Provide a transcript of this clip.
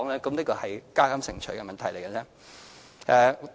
這只是"加減乘除"的問題。